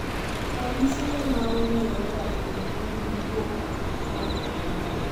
Ranyisi ne maong`ere ahinya en buok mar adundo.